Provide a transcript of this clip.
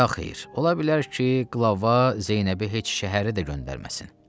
Yaxeyr, ola bilər ki, qlava Zeynəbi heç şəhəri də göndərməsin.